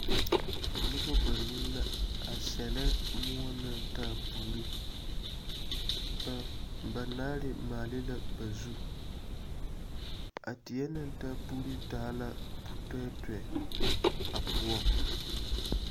Nobɔ banuu la are sellɛ moɔ naŋ taa puuri. Ba ba naare maale la ba zu. A teɛ naŋ taa puuruu taa la putɔɛtɔɛ a poɔŋ.